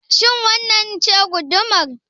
Shin wannan ce gudumar?